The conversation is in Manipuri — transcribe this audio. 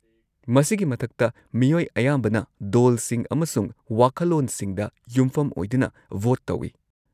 -ꯃꯁꯤꯒꯤ ꯃꯊꯛꯇ, ꯃꯤꯑꯣꯏ ꯑꯌꯥꯝꯕꯅ ꯗꯣꯜꯁꯤꯡ ꯑꯃꯁꯨꯡ ꯋꯥꯈꯜꯂꯣꯟꯁꯤꯡꯗ ꯌꯨꯝꯐꯝ ꯑꯣꯏꯗꯨꯅ ꯚꯣꯠ ꯇꯧꯏ꯫